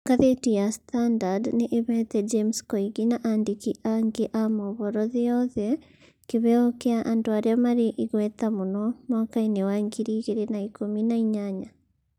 Ngathĩti ya standard nĩ ĩheete James Koigi na andĩki angĩ a mohoro thĩ yothe kĩheo kĩa andũ arĩa marĩ igweta mũno mwaka-inĩ wa ngiri igĩrĩ na ikũmi na inyanya.